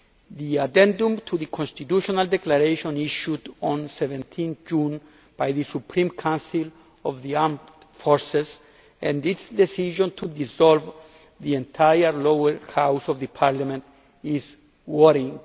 The addendum to the Constitutional Declaration issued on 17 June by the Supreme Council of the Armed Forces, and its decision to dissolve the entire Lower House of the parliament, is worrying.